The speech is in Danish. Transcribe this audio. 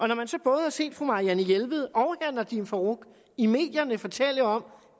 når man så både har set fru marianne jelved og herre nadeem farooq i medierne fortælle om